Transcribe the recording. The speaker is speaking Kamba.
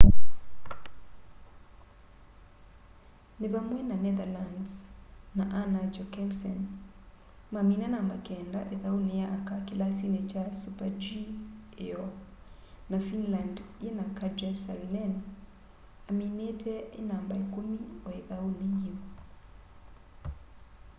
ni vamwe na netherlands na anna jochemsen mamina namba keenda ithauni ya aka kilasini kya super-g iyoo na finland yina katja saarinen aminite e namba ikumi o ithauni yiu